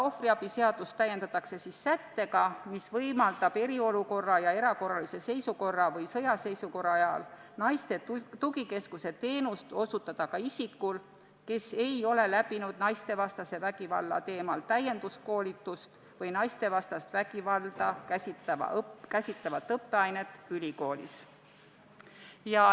Ohvriabi seadust täiendatakse sättega, mis võimaldab eriolukorra ja erakorralise seisukorra või sõjaseisukorra ajal osutada naiste tugikeskuse teenust ka isikul, kes ei ole läbinud naistevastase vägivalla teemalist täienduskoolitust või naistevastast vägivalda käsitlevat õppeainet ülikoolis.